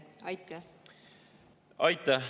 Aitäh!